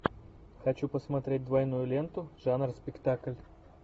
хочу посмотреть двойную ленту жанр спектакль